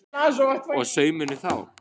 Og saumurinn þá?